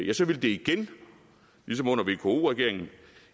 ja så ville det igen ligesom under vko regeringen